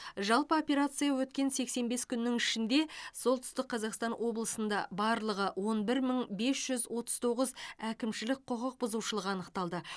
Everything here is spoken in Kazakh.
жалпы операция өткен сексен бес күн ішінде солтүстік қазақстан облысында барлығы он бір мың бес жүз отыз тоғыз әкімшілік құқық бұзушылық анықталды